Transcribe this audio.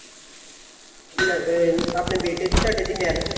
ਆਪਣੇ ਬੇਟੇ ਦੀ ਤੁਹਾਡੇ ਦੀ marriage